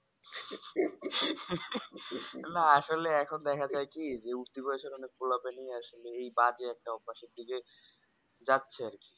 না আসলে এখন দেখাযায় কি যে উর্তী বয়েসের অনেক পোলা পাইলে আসলেই এই বাজে একটা অভ্যাসের দিকে যাচ্ছে আরকি